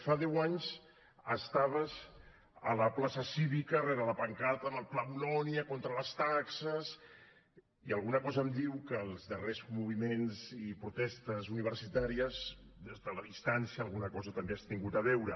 fa deu anys estaves a la plaça cívica rere la pancarta contra el pla bolonya contra les taxes i alguna cosa em diu que amb els darrers moviments i protestes universitàries des de la distància alguna cosa també hi has tingut a veure